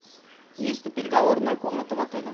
есть ли переговорная комната в отеле